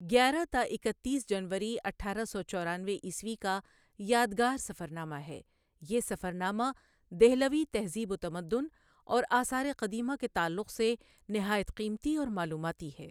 گیارہ تا اکتیس جنوری اٹھارہ سو چورانوے عیسوی کا یادگار سفرنامہ ہے، یہ سفرنامہ دہلوی تہذیب وتمدن اور آثار قدیمہ کے تعلق سے نہایت قیمتی اور معلوماتی ہے ۔